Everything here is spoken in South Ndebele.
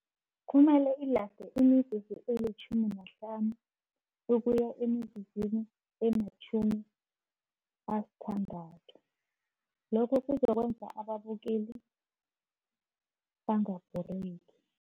Kumele ilaste imizuzu elitjhumi nahlanu, ukuya emizuzwini ematjhumi asithandathu, lokho kuzokwenza ababukeli bangabhoreki.